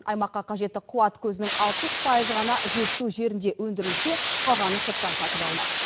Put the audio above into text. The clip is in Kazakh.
аймаққа қажетті қуат көзінің алпыс пайызы ғана жетісу жерінде өндірілсе қалғаны сырттан сатып алынады